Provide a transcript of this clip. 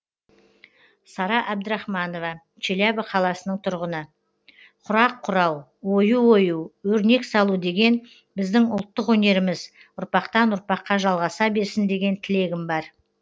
сара әбдірахманова челябі қаласының тұрғыны құрақ құрау ою ою өрнек салу деген біздің ұлттық өнеріміз ұрпақтан ұрпаққа жалғаса берсін деген тілегім бар